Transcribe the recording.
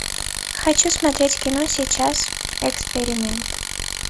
хочу смотреть кино сейчас эксперимент